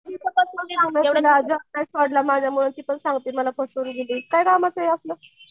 आणि ती तुला सांगती मला फसवून गेली काय कामाचं हे असलं?